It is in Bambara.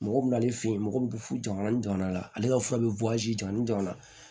Mɔgɔ bɛ n'ale fe yen mɔgɔ bɛ fu jama ni jama la ale ka fura bɛ jɔn ni jɔn na